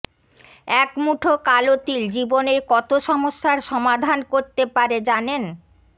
এক মুঠো কালো তিল জীবনের কত সমস্যার সমাধান করতে পারে জানেন